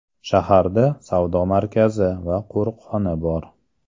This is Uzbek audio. Shaharda savdo markazi va qo‘riqxona bor.